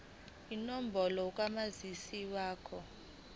inombolo kamazisi wakho